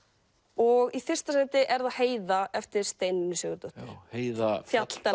og í fyrsta sæti er það Heiða eftir Steinunni Sigurðardóttur heiða